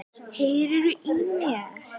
Heyriði í mér?